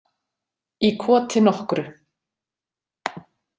Í koti nokkru.